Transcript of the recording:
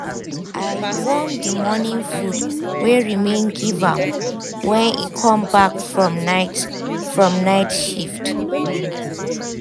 i warm the morning food wey remain give am when e come back from night from night shift